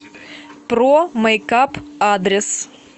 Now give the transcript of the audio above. про мэйкап адрес